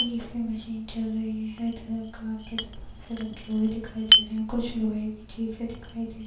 यह इसकी मशीन चल रही है। कार के दरवाजे रखे हुए दिखाई दे रहे हैं। कुछ लोहे की चीजे दिखाई दे --